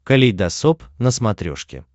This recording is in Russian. калейдосоп на смотрешке